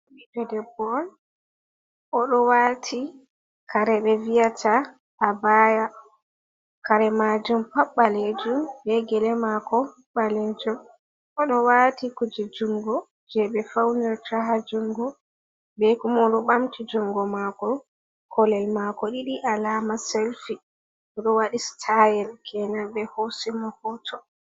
Ɓiɗɗo debbo on o ɗo waati kare ɓe vi'ata abaaya, kare maajum pat ɓaleejum, bee gele maako ɓaleejum. O ɗo waati kuuje junngo jey ɓe fawnirta ha junngo, bee kuma o ɗo ɓamti junngo maako. Koolel maako ɗiɗi alaama selfi, O ɗo waɗi sitaayel keenan ɓe hoosi mo hooto.